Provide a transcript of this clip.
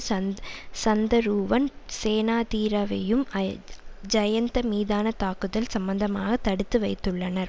சந் சந்தருவன் சேனாதீரவையும் ஐ ஜயந்த மீதான தாக்குதல் சம்பந்தமாக தடுத்து வைத்துள்ளனர்